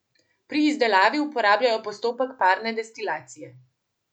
Pri izdelavi uporabljajo postopek parne destilacije.